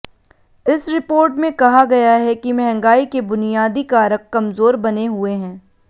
इस रिपोर्ट में कहा गया है कि महंगाई के बुनियादी कारक कमजोर बने हुए हैं